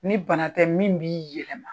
Ni bana tɛ min b'i yɛlɛma.